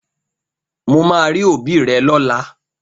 Mo máa rí òbí rẹ lọ́la!